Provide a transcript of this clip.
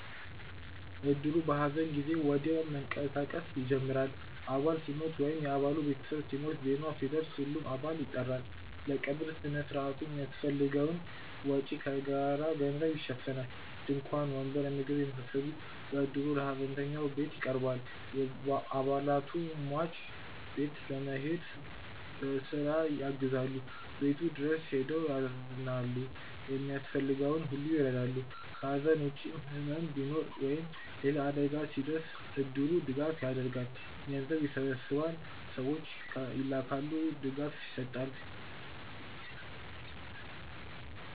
እድሩ በሐዘን ጊዜ ወዲያው መንቀሳቀስ ይጀምራል። አባል ሲሞት ወይም የ አባሉ ቤተሰብ ሲሞት፣ ዜናው ሲደርስ ሁሉም አባል ይጠራል። ለቀብር ሥነ ሥርዓቱ የሚያስፈልገውን ወጪ ከጋራ ገንዘብ ይሸፈናል። ድንኳን፣ ወንበር፣ ምግብ የመሳሰሉት በእድሩ ለሀዘንተኛው ቤት ይቀርባል። አባላቱ ሟች ቤት በመሄድ በስራ ያግዛሉ፣ ቤቱ ድረስ ሄደው ያዝናሉ፣ የሚያስፈልገውን ሁሉ ይረዳሉ። ከሐዘን ውጭም ሕመም ሲኖር ወይም ሌላ አደጋ ሲደርስ እድሩ ድጋፍ ያደርጋል። ገንዘብ ይሰበሰባል፣ ሰዎች ይላካሉ፣ ድጋፍ ይሰጣል።